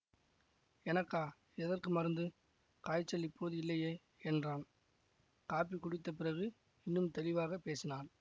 எனக்கா எதற்கு மருந்து காய்ச்சல் இப்போது இல்லையே என்றான் காப்பி குடித்த பிறகு இன்னும் தெளிவாக பேசினாள்